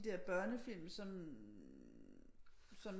De der børnefilm som som